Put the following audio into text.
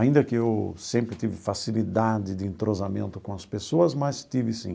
Ainda que eu sempre tive facilidade de entrosamento com as pessoas, mas tive, sim.